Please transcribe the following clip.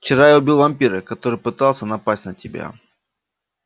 вчера я убил вампира который пытался напасть на тебя